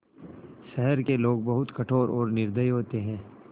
शहर के लोग बहुत कठोर और निर्दयी होते हैं